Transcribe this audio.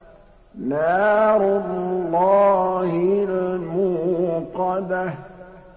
نَارُ اللَّهِ الْمُوقَدَةُ